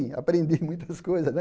Aprendi muitas coisas, né?